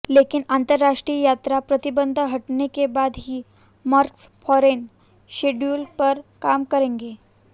लेकिन अंतरराष्ट्रीय यात्रा प्रतिबंध हटने के बाद ही मेकर्स फॉरेन शेड्यूल पर काम करेंगे